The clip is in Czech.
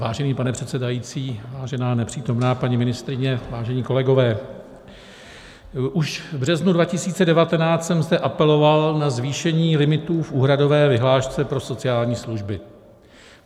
Vážený pane předsedající, vážená nepřítomná paní ministryně, vážení kolegové, už v březnu 2019 jsem zde apeloval na zvýšení limitů v úhradové vyhlášce pro sociální služby.